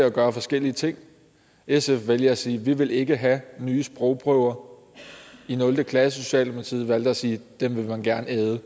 at gøre forskellige ting sf valgte at sige vi vil ikke have nye sprogprøver i nul klasse socialdemokratiet valgte at sige dem vil man gerne æde